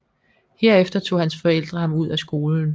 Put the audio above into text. Herefter tog hans forældre ham ud af skolen